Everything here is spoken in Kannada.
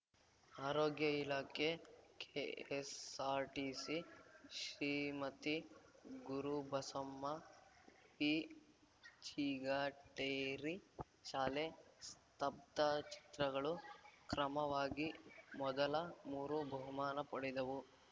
ಆರೋಗ್ಯ ಇಲಾಖೆ ಕೆಎಸ್ಸಾರ್ಟಿಸಿ ಶ್ರೀಮತಿ ಗುರುಬಸಮ್ಮ ವಿಚಿಗಟೇರಿ ಶಾಲೆ ಸ್ತಬ್ಧಚಿತ್ರಗಳು ಕ್ರಮವಾಗಿ ಮೊದಲ ಮೂರು ಬಹುಮಾನ ಪಡೆದವು